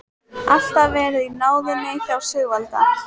Alltaf verið í náðinni hjá Sigvalda.